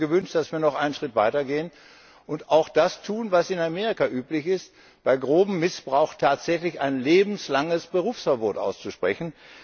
Ich hätte mir gewünscht, dass wir noch einen Schritt weitergehen und auch das tun, was in Amerika üblich ist bei grobem Missbrauch tatsächlich ein lebenslanges Berufsverbot auszusprechen.